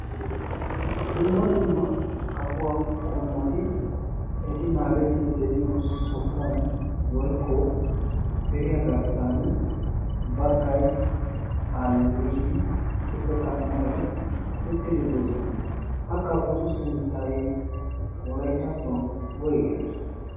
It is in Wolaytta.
Dumma dumma kafuwaa qommoti eti naagettidi de'iyo sohuwan woikko piriyaa garssan baggai paallishin gituppekka amarai uttidi doosona ha kafotu sunttai olaittattuwan woigettii